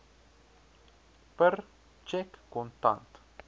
per tjek kontant